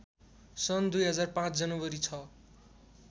सन् २००५ जनवरी ६